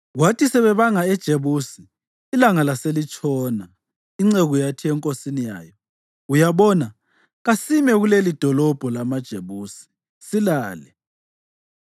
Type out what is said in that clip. Kwathi sebebanga eJebusi ilanga laselitshona, inceku yathi enkosini yayo, “Uyabona, kasime kulelidolobho lamaJebusi silale.”